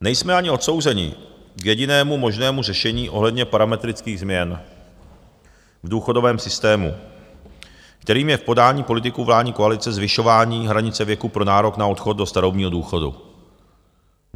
Nejsme ani odsouzeni k jedinému možnému řešení ohledně parametrických změn v důchodovém systému, kterým je v podání politiků vládní koalice zvyšování hranice věku pro nárok na odchod do starobního důchodu.